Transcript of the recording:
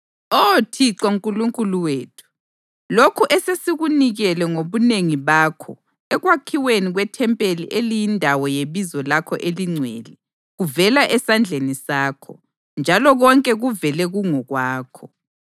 Oh Thixo Nkulunkulu wethu, lokhu esesikunikele ngobunengi bakho ekwakhiweni kwethempeli eliyindawo yeBizo lakho eliNgcwele, kuvela esandleni sakho, njalo konke kuvele kungokwakho.